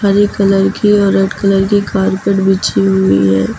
हरे colour की और red colour की कारपेट बिछी हुई है।